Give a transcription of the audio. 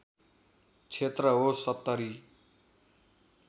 क्षेत्र हो ७०